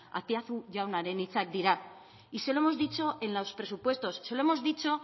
azpiazu jaunaren hitzak dira y se lo hemos dicho en los presupuestos se lo hemos dicho